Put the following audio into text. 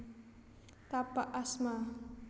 Tapak asma